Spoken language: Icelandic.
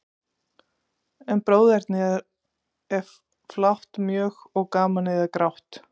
En bróðernið er flátt mjög, og gamanið er grátt.